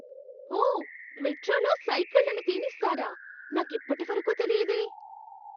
ఓ! మెట్రోలో సైకిళ్లను తేనిస్తారా. నాకిప్పటివరకు తెలియదే.